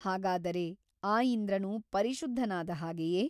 styletextindent 1cmಹಾಗಾದರೆ ಆ ಇಂದ್ರನು ಪರಿಶುದ್ಧನಾದ ಹಾಗೆಯೇ !